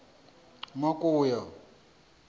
makuya